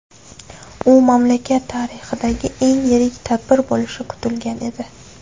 U mamlakat tarixidagi eng yirik tadbir bo‘lishi kutilgan edi.